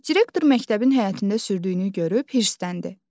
Direktor məktəbin həyətində sürdüyünü görüb hirsləndi.